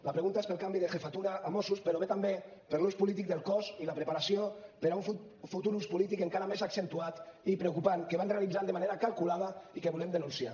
la pregunta és pel canvi de jefatura a mossos però ve també per l’ús polític del cos i la preparació per a un futur ús polític encara més accentuat i preocupant que van realitzant de manera calculada i que volem denunciar